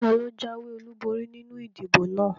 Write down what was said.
Taló jáwé ọlúborí nínu ìdìbò náà?